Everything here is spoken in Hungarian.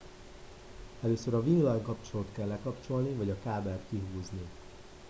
először a villanykapcsolót kell lekapcsolni vagy a kábelt kihúzni